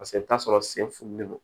Paseke i bi taa sɔrɔ sen fununen don